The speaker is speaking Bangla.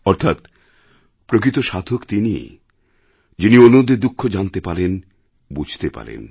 অর্থাৎ প্রকৃত সাধক তিনিই যিনি অন্যদের দুঃখ জানতে পারেন বুঝতে পারেন